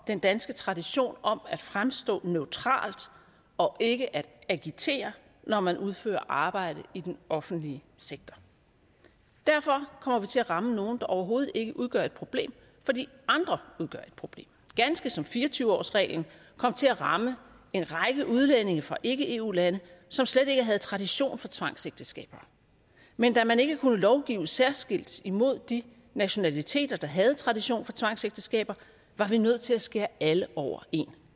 den danske tradition om at fremstå neutral og ikke agitere når man udfører arbejde i den offentlige sektor derfor kommer vi til at ramme nogle der overhovedet ikke udgør et problem fordi andre udgør et problem ganske som fire og tyve årsreglen kom til at ramme en række udlændinge fra ikke eu lande som slet ikke havde tradition for tvangsægteskaber men da man ikke kunne lovgive særskilt imod de nationaliteter der havde tradition for tvangsægteskaber var vi nødt til at skære alle over en